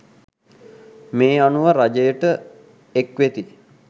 මේ අනුව රජයට එක්‌වෙති